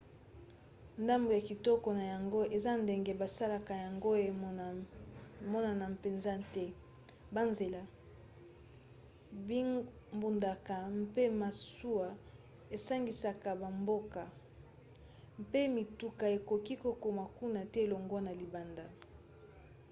ndambu ya kitoko na yango eza ndenge basalaka yango emonana mpenza te. banzela bingbunduka mpe masuwa esangisaka bamboka mpe mituka ekoki kokoma kuna te longwa na libanda